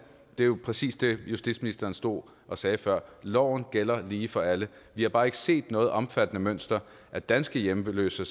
det var præcis det justitsministeren stod og sagde før loven gælder lige for alle vi har bare ikke set noget omfattende mønster af danske hjemløse